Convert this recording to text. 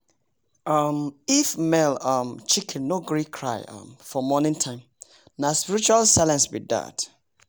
um if male um chicken no gree cry um for morning time nah spiritual silence be dat